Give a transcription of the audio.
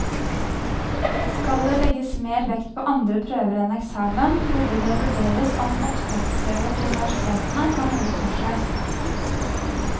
Skal det legges mer vekt på andre prøver enn eksamen, burde det vurderes om opptaksprøver til universitetene har noe for seg.